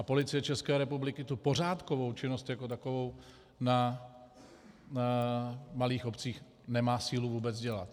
A Policie České republiky tu pořádkovou činnost jako takovou na malých obcích nemá sílu vůbec dělat.